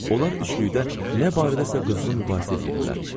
Onlar üçlükdə nə barədə qızğın mübahisə edirdilər.